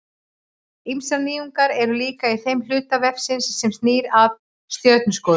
Ýmsar nýjungar eru líka í þeim hluta vefsins sem snýr að stjörnuskoðun.